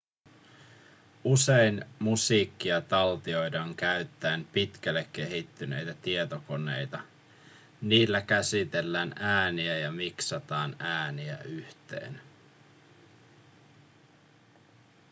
usein musiikkia taltioidaan käyttäen pitkälle kehittyneitä tietokoneita niillä käsitellään ääniä ja miksataan ääniä yhteen